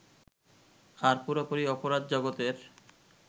আর পুরোপুরি অপরাধ-জগতের